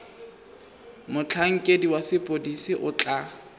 motlhankedi wa sepodisi o tla